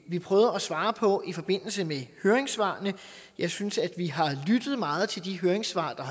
vi prøvet at svare på i forbindelse med høringssvarene jeg synes at vi har lyttet meget til de høringssvar der